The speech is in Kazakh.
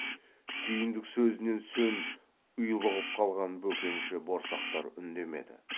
сүйіндік сөзінен сөн ұйлығып қалған бөкенші борсақтар үндемеді